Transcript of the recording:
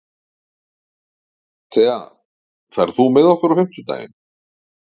Thea, ferð þú með okkur á fimmtudaginn?